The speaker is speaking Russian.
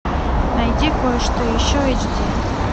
найди кое что еще эйч ди